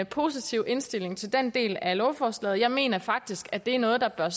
positiv indstilling til den del af lovforslaget jeg mener faktisk at det er noget der bør